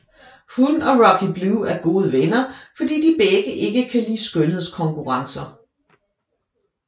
Hun og Rocky Blue er gode venner fordi de begge ikke kan lide skønhedskonkurrencer